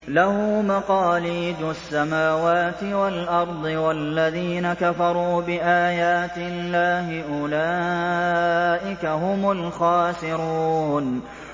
لَّهُ مَقَالِيدُ السَّمَاوَاتِ وَالْأَرْضِ ۗ وَالَّذِينَ كَفَرُوا بِآيَاتِ اللَّهِ أُولَٰئِكَ هُمُ الْخَاسِرُونَ